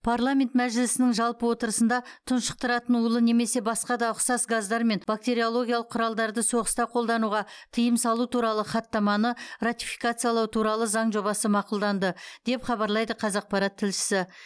парламент мәжілісінің жалпы отырысында тұншықтыратын улы немесе басқа да ұқсас газдар мен бактериологиялық құралдарды соғыста қолдануға тыйым салу туралы хаттаманы ратификациялау туралы заң жобасы мақұлданды деп хабарлайды қазақпарат тілшісі